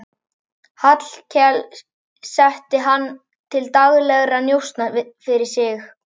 Hallkel setti hann til daglegra njósna fyrir sig.